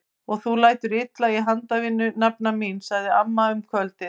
Og þú lætur illa í handavinnu nafna mín! sagði amma um kvöldið.